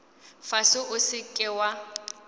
fase o se ke wa